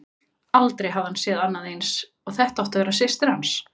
Aldrei hafði hann séð annað eins, og þetta átti að vera systir hans.